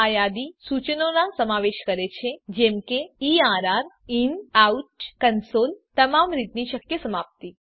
આ યાદી સૂચનો નાં સમાવેશ કરે છે જેમ કે એર્ર inoutકન્સોલ તમામ રીતની શક્ય સમાપ્તિ